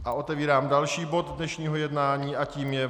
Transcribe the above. A otevírám další bod dnešního jednání a tím je